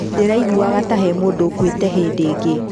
Ndĩraiguaga ta he mũndu ũkuĩte hĩndĩ ĩngĩ.